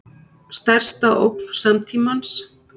Stærsta ógn samtímans